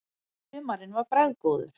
Humarinn var bragðgóður.